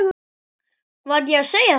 Var ég að segja það?